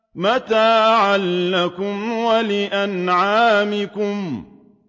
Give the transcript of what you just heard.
مَتَاعًا لَّكُمْ وَلِأَنْعَامِكُمْ